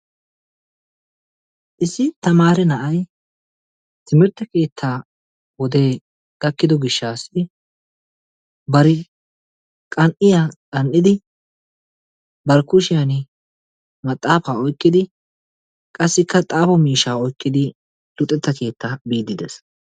Issi tamaare na'ay timirtte keettaa wodee gaakkido giishshasi bari qan"iyaa qan"idi bari kuushshiyaan maxaafaa oykkidi qassikka xaafo miishshaa oykkidi luxxeta keettaa biidi de'ees.